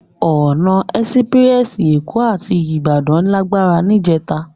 Òná èsipirèsi Ékò àti Ibadan làgbá nijètá